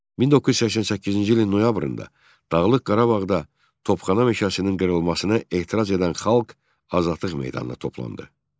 1988-ci ilin noyabrında Dağlıq Qarabağda Topxana meşəsinin qırılmasına etiraz edən xalq Azadlıq meydanına toplandı.